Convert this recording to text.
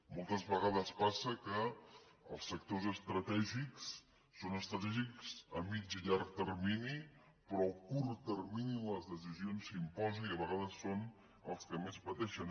moltes vegades passa que els sectors estratègics són estratègics a mig i llarg termini però a curt termini les decisions s’imposen i a vegades són els que més pateixen